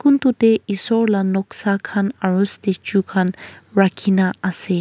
kun tu tae esor la noksa khan aro statue khan rakhina ase.